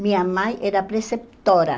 Minha mãe era preceptora.